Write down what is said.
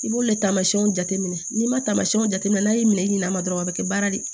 I b'olu le taamasiɲɛnw jateminɛ n'i ma taamasiɲɛnw jateminɛ n'a y'i minɛ i ɲɛna dɔrɔn a bɛ kɛ baara de ye